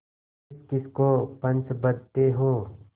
किसकिस को पंच बदते हो